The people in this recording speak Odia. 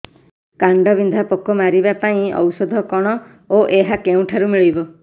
କାଣ୍ଡବିନ୍ଧା ପୋକ ମାରିବା ପାଇଁ ଔଷଧ କଣ ଓ ଏହା କେଉଁଠାରୁ ମିଳିବ